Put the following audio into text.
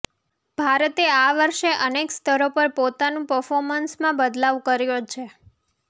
ભારતે આ વર્ષે અનેક સ્તરો પર પોતાનું પર્ફોમન્સમા બદલાવ કર્યો છે